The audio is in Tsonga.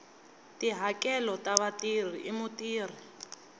tihakelo ta vatirhi hi mutirhi